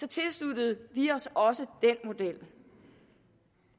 tilsluttede vi os også den model